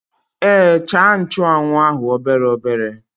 Èé, chàà nchụ́anwu ahụ obere obere